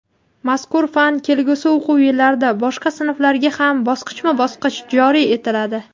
Mazkur fan kelgusi o‘quv yillarida boshqa sinflarga ham bosqichma-bosqich joriy etiladi.